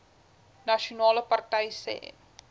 nasionale party sê